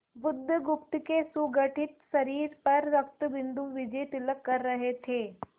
बुधगुप्त के सुगठित शरीर पर रक्तबिंदु विजयतिलक कर रहे थे